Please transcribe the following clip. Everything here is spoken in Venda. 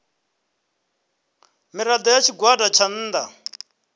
mirado ya tshigwada tsha nnda